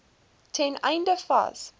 ten einde vas